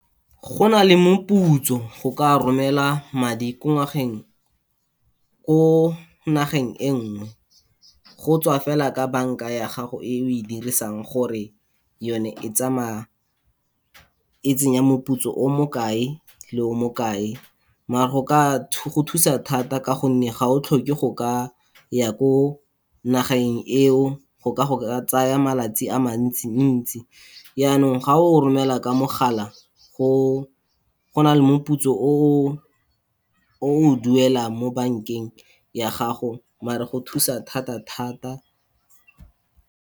Go na le moputso go ka romela madi ko nageng e nngwe, go tswa fela ka banka ya gago eo e dirisang, gore yone e tsamaya e tsenya moputso o mo kae, le o mo kae, mare go thusa thata ka gonne ga o tlhoke go ka ya ko nageng eo, go ka go tsaya malatsi a mantsi-ntsi, yanong ga o romela ka mogala go na le moputso o o duelang mo bankeng ya gago, mare go thusa thata thata.